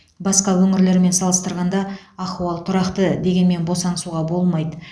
басқа өңірлермен салыстырғанда ахуал тұрақты дегенмен босаңсуға болмайды